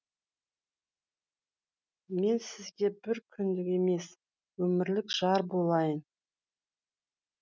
мен сізге бір күндік емес өмірлік жар болайын